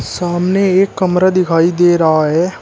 सामने एक कमरा दिखाई दे रहा है।